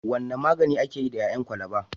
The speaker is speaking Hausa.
Wane magani ake yi da ƴaƴan kwalaba?